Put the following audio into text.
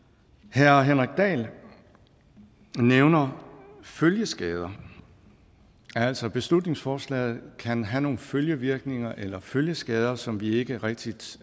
herre henrik dahl nævner følgeskader altså at beslutningsforslaget kan have nogle følgevirkninger eller følgeskader som vi ikke rigtig